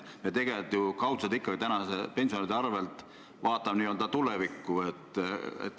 Me tegelikult ju kaudselt ikkagi praeguste pensionäride arvel vaatame tulevikku.